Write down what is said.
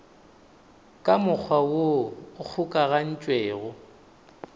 ka mokgwa woo o kgokagantšwego